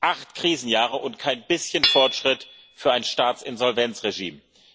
Acht Krisenjahre und kein bisschen Fortschritt für ein Staatsinsolvenzregime.